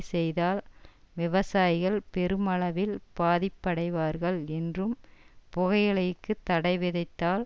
செய்தால் விவசாயிகள் பெருமளவில் பாதிப்படைவார்கள் என்றும் புகையிலைக்கு தடைவிதித்தால்